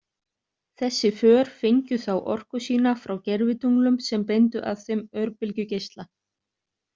Þessi för fengju þá orku sína frá gervitunglum sem beindu að þeim örbylgjugeisla.